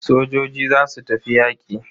Sojojin zasu tafi yaƙi.